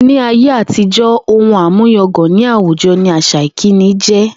Ní ayé àtijó̩, ohun àmúyangàn ní àwùjo̩ ni àsà ìkíni jé̩